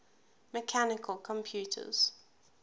mechanical computers